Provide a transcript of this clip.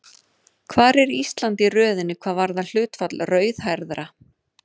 Hvar er Ísland í röðinni hvað varðar hlutfall rauðhærðra?